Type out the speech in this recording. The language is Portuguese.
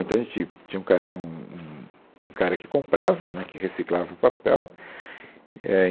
Então, a gente tinha um cara um um um cara que comprava né, que reciclava o papel éh.